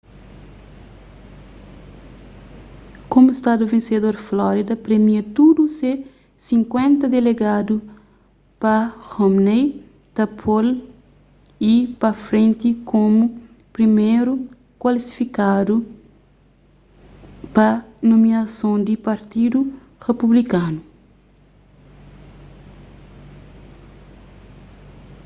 komu stadu vensedor florida premia tudu se sinkuenta delegadu pa romney ta po-l pa frenti komu priméru klasifikadu pa nomiason di partidu republikanu